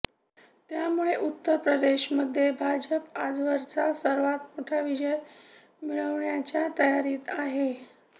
त्यामुळे उत्तरप्रदेशमध्ये भाजप आजवरचा सर्वात मोठा विजय मिळविण्याच्या तयारीत आहे